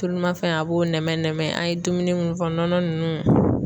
Tulu ma fɛn a b'o nɛmɛ nɛmɛ an ye dumuni mun fɔ nɔnɔ nunnu